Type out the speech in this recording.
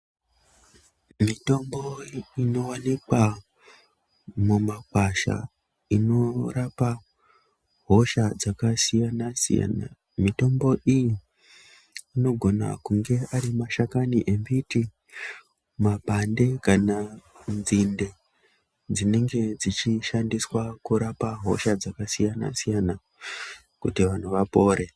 Mitombo inowanikwa mumakwasha inorapa hosha dzakasiyana siyana, mitombo iyi anogona kunge ari mashakani yembiti, mapande kana nzinde dzinenge dzichishandiswa kurapa hosha dzakasiyana kuti vantu vapore.